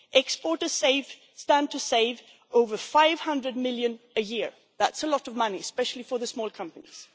Exporters stand to save over EUR 500 million a year, and that is a lot of money, especially for the small companies.